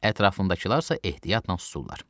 ətrafındakılar isə ehtiyatla susurlar.